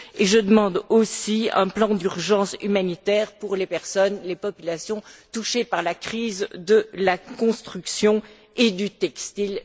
Je demande aussi un plan d'urgence humanitaire pour les personnes, les populations touchées par la crise de la construction et du textile.